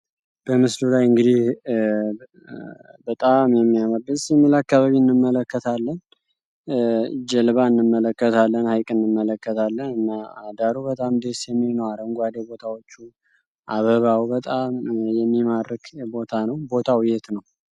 በጣም ደስ የሚል በምልስሉ ላይ ጀልባ እንመለከታለን አደሩ በጣም ደስ አካባቢ እንመለከታለን